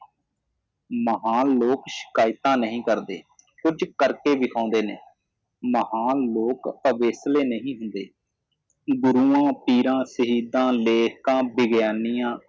ਮਹਾਨ ਲੋਗ ਸ਼ਿਕਾਇਤਾਂ ਨਈ ਕਰਦੇ ਕੁਝ ਕਰਕੇ ਵਿਖਾਉਂਦੇ ਨੇ ਮਹਾਨ ਲੋਕ ਅਵੇਕਲੇ ਨਹੀ ਹੁੰਦੇ ਗੁਰੂਆਂ ਪੀਰਾਂ ਸ਼ਹੀਦਾਂ ਲੇਖਕਾਂ ਵਿਗਿਆਨੀਆਂ